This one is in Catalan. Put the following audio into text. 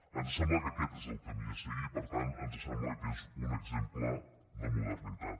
ens sembla que aquest és el camí a seguir per tant ens sembla que és un exemple de modernitat